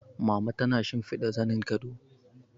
Mama tana shimfiɗa zanin gado